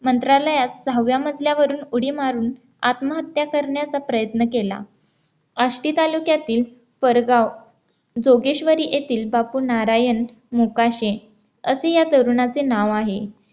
मंत्रालयात सहाव्या मजल्यावरून उडी मारून आत्महत्या करण्याचा प्रयत्न केला आष्टी तालुक्यातील पारगाव जोगेश्वरी येथील बापू नारायण मोकाशी असे या तरुणाचे नाव आहे